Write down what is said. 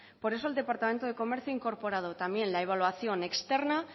por eso el departamento de comercio ha incorporado también la evaluación externa